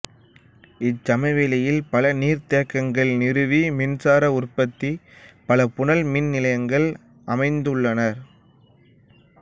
இச்சமவெளியில் பல நீர்த்தேக்கங்கள் நிறுவி மின்சார உற்பத்திக்கு பல புனல் மின்நிலையங்கள் அமைத்துள்ளனர்